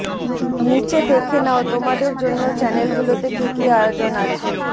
নিচে দেখে নাও তোমাদের জন্য চ্যানেলেগুলোতে কি কি আয়োজন আছে